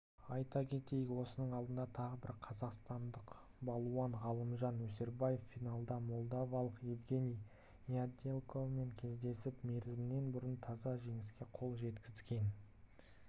айта кетейік осының алдында тағы бір қазақстандық балуан ғалымжан өсербаев финалда молдавалық евгений недялкомен кездесіп мерзімінен бұрын таза жеңіске қол жеткізген